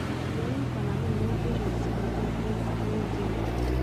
Yoin konamin mutations chemiten en CHRNG gene.